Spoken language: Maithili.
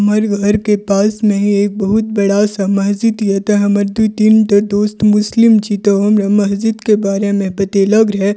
हमरा घर के पास में ही एक बहुत बड़ा सा मस्जिद ये ते हमर दू तीन टा दोस्त मुस्लिम छी ते हमरा मस्जिद के बारे मे बतेलक रहे।